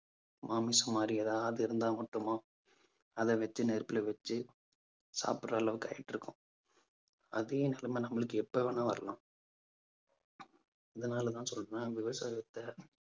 மாமிசம் மாதிரி ஏதாவது இருந்தா மட்டுமா அதை வச்சு நெருப்புல வச்சு சாப்பிடுற அளவுக்கு ஆகிட்டு இருக்கோம். அதே நிலைமை நம்மளுக்கு எப்ப வேணாலும் வரலாம் அதனாலதான் சொல்றேன். விவசாயத்தை